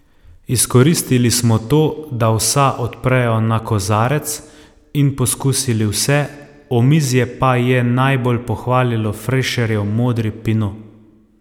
Izkoristili smo to, da vsa odprejo na kozarec, in poskusili vse, omizje pa je najbolj pohvalilo Frešerjev modri pinot.